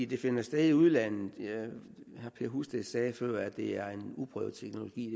de finder sted i udlandet herre husted sagde før at det er en uprøvet teknologi